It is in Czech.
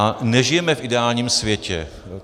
A nežijeme v ideálním světě.